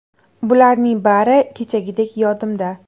Bularning bari kechagidek yodimda”.